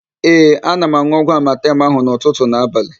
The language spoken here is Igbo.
Ee, ana m an̄ụ ọgwụ amatem ahụ n'ụtụtụ na abalị.